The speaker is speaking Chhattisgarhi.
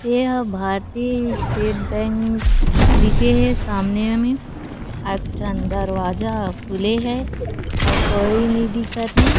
यह भारतीय स्टेट बैंक लिखे हे सामने में एक ठन दरवाजा खुले हे अउ कोई नहीं दिखत थे।